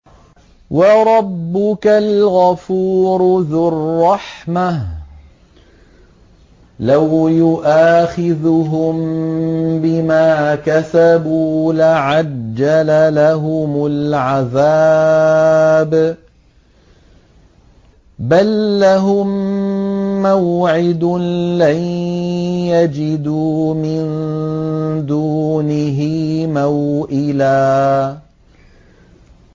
وَرَبُّكَ الْغَفُورُ ذُو الرَّحْمَةِ ۖ لَوْ يُؤَاخِذُهُم بِمَا كَسَبُوا لَعَجَّلَ لَهُمُ الْعَذَابَ ۚ بَل لَّهُم مَّوْعِدٌ لَّن يَجِدُوا مِن دُونِهِ مَوْئِلًا